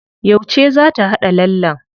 Yauce za ta haɗa lallen?